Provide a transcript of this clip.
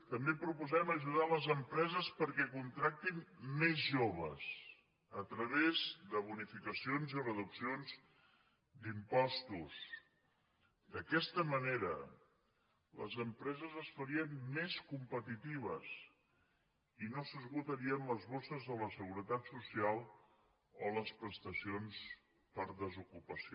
també proposem ajudar les empreses perquè contractin més joves a través de bonificacions i reduccions d’impostos d’aquesta manera les empreses es farien més competitives i no s’esgotarien les bosses de la seguretat social o les prestacions per desocupació